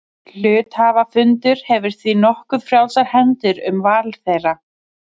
Hluthafafundur hefur því nokkuð frjálsar hendur um val þeirra.